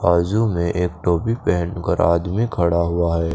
बाजू में एक टोपी पहन कर आदमी खड़ा हुआ है।